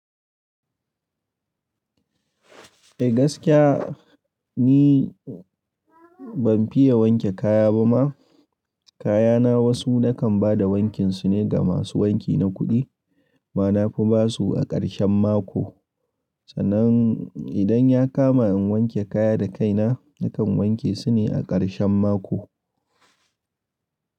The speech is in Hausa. Eh gaskiya ni ban fiya wanke kaya ba ma. Kaya na wasu na kan ba da wankinsu ne ga masu wanki na kuɗi, bana fi ba su a ƙarshen mako. Sannan idan ya kama in wanke kaya da kaina, na kan wanke su ne a ƙarshen mako.